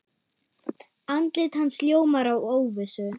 Andlit hans ljómar af óvissu.